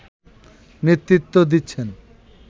নেতৃত্ব দিচ্ছেন